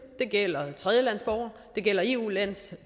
det gælder tredjelandsborgere det gælder eu landes